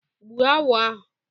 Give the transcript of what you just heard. Gbụu agwọ a.